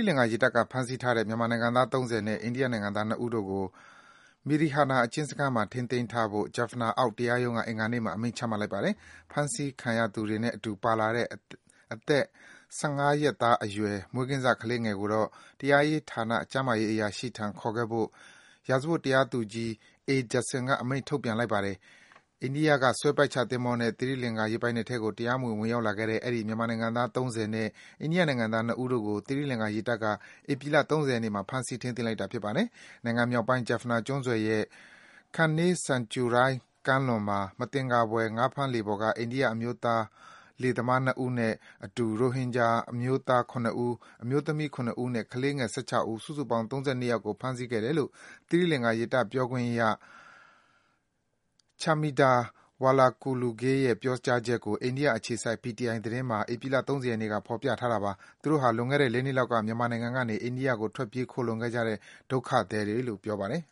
လင်္ကာ ရေတပ်က ဖမ်းဆီးထားတဲ့ မြန်မာနိုင်ငံသား ၃၀ နဲ့ အိန္ဒိယ နိုင်ငံသား ၂ ဦးတို့ကို Mirihana အကျဉ်းစခန်းမှာ ထိန်းသိမ်းထားဖို့ Jaffna အောက်တရားရုံးက အင်္ဂါနေ့မှာ အမိန့်ချမှတ်လိုက်ပါတယ်။ ဖမ်းဆီးခံရသူတွေနဲ့အတူ ပါလာတဲ့ အသက် ၁၅ ရက်အရွယ် မွေးကင်းစ ကလေးငယ်လေးကိုတော့ တရားရေးဌာန ကျန်းမာရေး အရာရှိထံ ခေါ်ခဲ့ဖို့ ရာဇဝတ် တရားသူကြီး A. Judson က အမိန့် ထုတ်ပြန်လိုက်ပါတယ်။ အိန္ဒိယက ဆွဲပိုက်ချသင်္ဘောနဲ့ သီရိလင်္ကာ ရေပိုင်နက်ထဲကို တရားမဝင် ဝင်ရောက်လာခဲ့တဲ့ အဲဒီ မြန်မာနိုင်ငံသား ၃၀ နဲ့ အိန္ဒိယနိုင်ငံသား ၂ ဦးတို့ကို သီရိလင်္ကာ ရေတပ်က ဧပြီလ ၃၀ ရက်နေ့မှာ ဖမ်းဆီး ထိန်းသိမ်းလိုက်တာ ဖြစ်ပါတယ်။ နိုင်ငံမြောက်ပိုင်း Jaffna ကျွန်းဆွယ်ရဲ့ Kanke santurai ကမ်းလွန်မှာ မသင်္ကာဖွယ် ငါးဖမ်းလှေပေါ်မှာ အိန္ဒိယ အမျိုးသား လှေသမား ၂ ဦးနဲ့ အတူ ရိုဟင်ဂျာအမျိုးသား ၇ ဦး၊ အမျိုးသမီး ၇ ဦးနဲ့ ကလေးငယ် ၁၆ ဦး၊ စုစုပေါင်း ၃၂ အယောက်ကို ဖမ်းဆီးခဲ့တယ်လို့ သီရိလင်္ကာ ရေတပ် ပြောခွင့်ရ Chaminda Walakuluge ရဲ့ ပြောကြားချက်ကို အိန္ဒိယ အခြေစိုက် PTI သတင်းမှာ ဧပြီလ ၃၀ ရက်နေ့က ဖေါ်ပြထားပါတယ်။ သူတို့ဟာ လွန်ခဲ့တဲ့ ၄ နှစ် လောက်က မြန်မာနိုင်ငံကနေ အိန္ဒိယကို ထွက်ပြေးခိုလှုံခဲ့ကြတဲ့ ဒုက္ခသည်တွေလို့လည်း ပြောပါတယ်